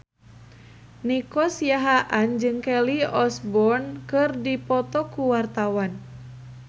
Nico Siahaan jeung Kelly Osbourne keur dipoto ku wartawan